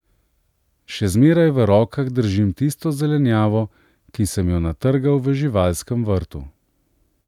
Še zmeraj v rokah držim tisto zelenjavo, ki sem jo natrgal v živalskem vrtu.